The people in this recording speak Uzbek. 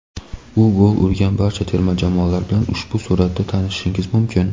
U gol urgan barcha terma jamoalar bilan ushbu suratda tanishishingiz mumkin.